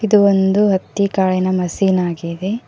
ಇದು ಒಂದು ಹತ್ತಿ ಕಾಳಿನ ಮಷೀನ್ ಆಗಿದೆ.